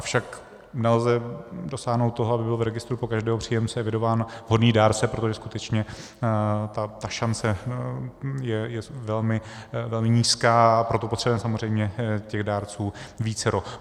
Avšak nelze dosáhnout toho, aby byl v registru pro každého příjemce evidován vhodný dárce, protože skutečně ta šance je velmi nízká, a proto potřebujeme samozřejmě těch dárců vícero.